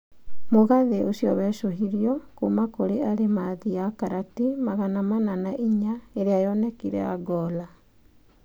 Mũgathĩ ũcio wecohirio kuuma kũrĩ arimathi ya karati magana mana na inya ĩrĩa yonekire Angola.